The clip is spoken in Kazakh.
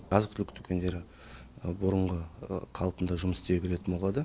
азық түлік дүкендері бұрынғы қалпында жұмыс істей беретін болады